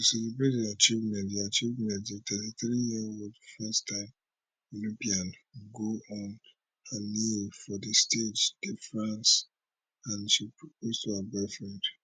to celebrate di achievement di achievement di 33yearold firsttime olympian go on her knee for di stage de france and she propose to her boyfriend